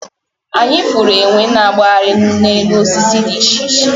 Anyi furu enwe na agbahari n enu osisi di iche cihe